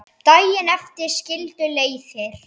Daginn eftir skildu leiðir.